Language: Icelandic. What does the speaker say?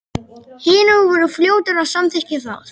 Hinar voru fljótar að samþykkja það.